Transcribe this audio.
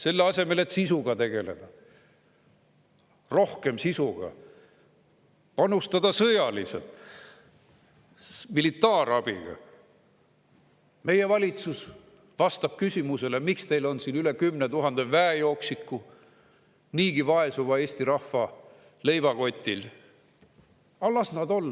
Selle asemel, et rohkem sisuga tegeleda, panustada sõjaliselt, militaarabiga, vastab meie valitsus küsimusele, miks meil on siin üle 10 000 väejooksiku niigi vaesuva Eesti rahva leivakotil: "Aga las nad olla.